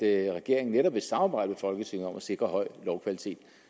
at regeringen netop vil samarbejde i folketinget om at sikre høj lovkvalitet